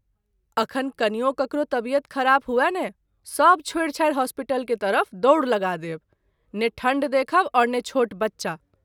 अखन कनियो ककरो तबियत खराब हुअ ने सभ छोड़ि छाड़ि होस्पीटल के तरफ दौर लगा देब, ने ठंढ देखब और ने छोट बच्चा।